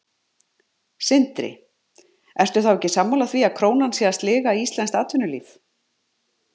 Sindri: Ertu þá ekki sammála því að krónan sé að sliga íslenskt atvinnulíf?